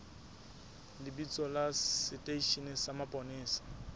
lebitso la seteishene sa mapolesa